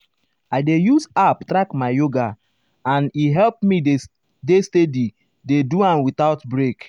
i dey use app track my yoga and e help me dey steady dey do am without break. break.